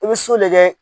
I bɛ so lajɛ